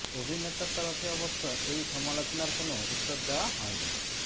অভিনেতার তরফে অবশ্য এই সমালোচনার কোনও উত্তর দেওয়া হয়নি